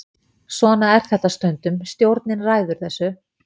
Svona er þetta stundum, stjórnin ræður þessu.